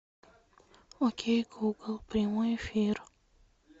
окей гугл прямой эфир